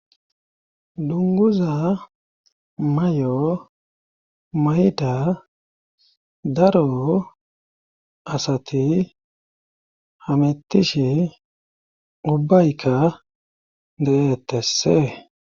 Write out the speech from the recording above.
dunguza may7o mayda daro asati hamettishi ubbaykka deettessee